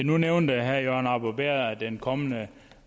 nu nævnte herre jørgen arbo bæhr at den kommende